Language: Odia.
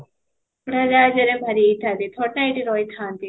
ଉଡାଜାହାଜ ରେ ବାହାରିଥାନ୍ତି ନା ଏଇଠି ରହି ଥାଆନ୍ତି